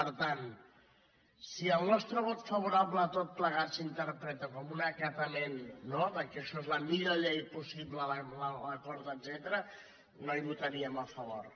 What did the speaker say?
per tant si el nostre vot favorable a tot plegat s’inter·preta com un acatament no que això és la millor possible l’acord etcètera no hi votaríem a favor